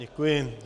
Děkuji.